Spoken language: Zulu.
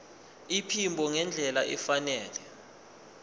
iphimbo ngendlela efanele